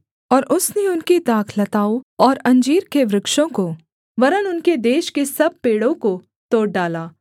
और उसने उनकी दाखलताओं और अंजीर के वृक्षों को वरन् उनके देश के सब पेड़ों को तोड़ डाला